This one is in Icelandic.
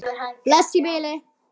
Varð honum því vel ágengt.